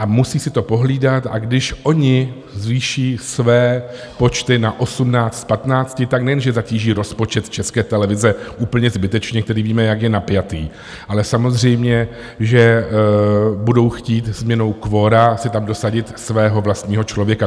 A musí si to pohlídat, a když oni zvýší své počty na 18 z 15, tak nejenže zatíží rozpočet České televize úplně zbytečně, který víme, jak je napjatý, ale samozřejmě že budou chtít změnou kvora si tam dosadit svého vlastního člověka.